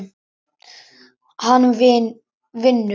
Hann vinnur.